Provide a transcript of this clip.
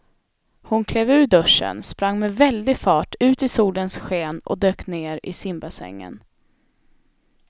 Hon klev ur duschen, sprang med väldig fart ut i solens sken och dök ner i simbassängen.